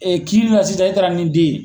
kiiri la sisan i taara n'i den ye.